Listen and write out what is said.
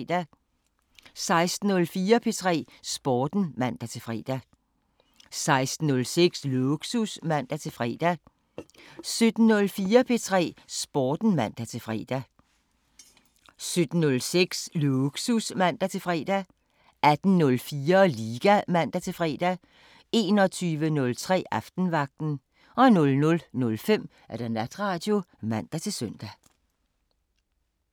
16:04: P3 Sporten (man-fre) 16:06: Lågsus (man-fre) 17:04: P3 Sporten (man-fre) 17:06: Lågsus (man-fre) 18:04: Liga (man-fre) 21:03: Aftenvagten 00:05: Natradio (man-søn)